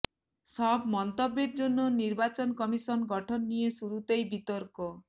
সব মন্তব্যের জন্য নির্বাচন কমিশন গঠন নিয়ে শুরুতেই বিতর্ক